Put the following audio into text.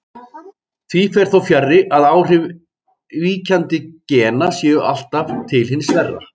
Því fer þó fjarri að áhrif víkjandi gena séu alltaf til hins verra.